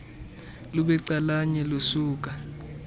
lube calanye lusuka